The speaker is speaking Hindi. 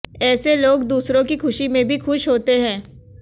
ऐसे लोग दूसरों की खुशी में भी खुश होते हैं